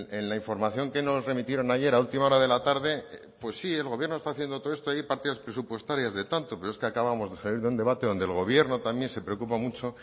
en la información que nos remitieron ayer a última hora de la tarde pues sí el gobierno está haciendo todo esto hay partidas presupuestarias de tanto pero es que acabamos de salir de un debate donde el gobierno también se preocupa mucho